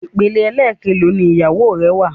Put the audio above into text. Ìpele ẹlẹkelò ni ìyàwó rẹ wà?